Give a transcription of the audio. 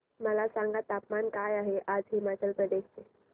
मला सांगा तापमान काय आहे आज हिमाचल प्रदेश चे